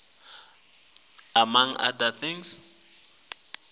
umongo locuketse konkhe